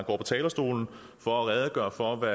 på talerstolen for at redegøre for